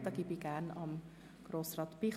Wir sind beim Themenblock 7.b Gemeinden angelangt.